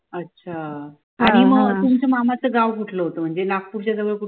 अच्छा आणि मग तुमच्या मामाचं गाव कुठलं होतं म्हणजे नागपूरच्या जवळ कुठलं होतं